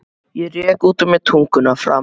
Ég rek út úr mér tunguna framan í þá.